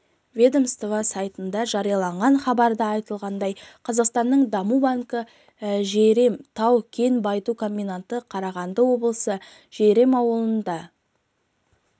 ведомство сайтында жарияланған хабарда айтылғандай қазақстанның даму банкі жәйрем тау-кен байыту комбинаты қарағанды облысы жәйрем ауылында